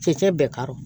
Fɛɛ bɛɛ ka don